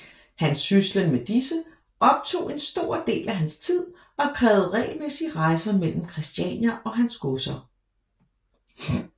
Hans syslen med disse optog en stor del af hans tid og krævede regelmæssige rejser mellem Christiania og hans godser